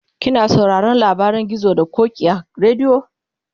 kina sauraron labarin gizo da ƙoki a radio?